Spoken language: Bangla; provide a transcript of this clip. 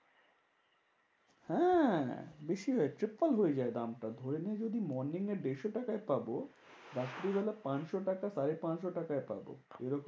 হ্যাঁ বেশি হয় triple হয়ে যায় দামটা। ধরে না যদি morning দেড়শো টাকায় পাবো। রাত্রি বেলায় পাঁচশো টাকা সাড়ে পাঁচশো টাকায় পাবো। এরকম